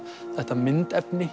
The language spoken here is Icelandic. þetta myndefni